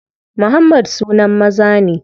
Muhammad sunan maza ne.